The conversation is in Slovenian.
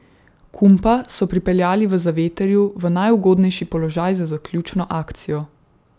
Kumpa so pripeljali v zavetrju v najugodnejši položaj za zaključno akcijo.